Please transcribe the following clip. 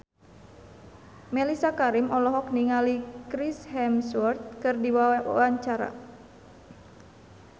Mellisa Karim olohok ningali Chris Hemsworth keur diwawancara